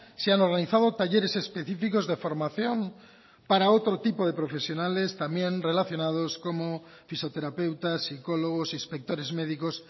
se han organizado talleres específicos de formación para otro tipo de profesionales también relacionados como fisioterapeutas psicólogos inspectores médicos